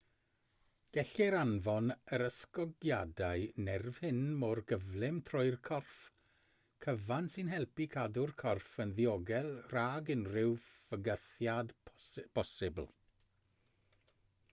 gellir anfon yr ysgogiadau nerf hyn mor gyflym trwy'r corff cyfan sy'n helpu cadw'r corff yn ddiogel rhag unrhyw fygythiad posibl